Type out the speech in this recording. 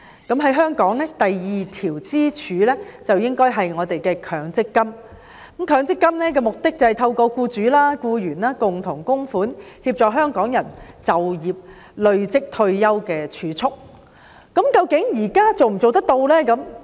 在香港，第二條支柱應該是指強積金，其目的是透過僱主及僱員共同供款，協助香港人累積儲蓄供退休之用。